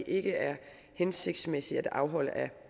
ikke er hensigtsmæssige at afholde